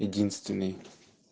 единственный